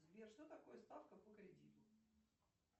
сбер что такое ставка по кредиту